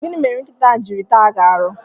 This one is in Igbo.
Gịnị mere nkịta ahụ jiri taa gi aru?